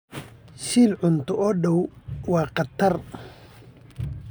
Shil cunto oo dhow waa khatar.